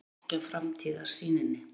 Féll ekki að framtíðarsýninni